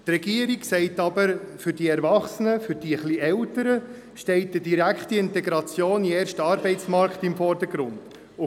Die Regierung sagt aber, dass für die Erwachsenen und etwas Älteren die direkte Integration in den ersten Arbeitsmarkt im Vordergrund steht.